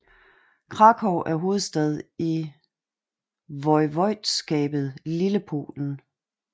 Kraków er hovedstad i voivodskabet Lillepolen